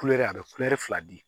Kulɛri a bɛ kulɛri fila di